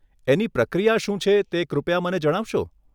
એની પ્રક્રિયા શું છે, તે કૃપયા મને જણાવશો?